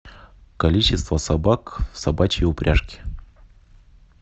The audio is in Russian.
количество собак в собачьей упряжке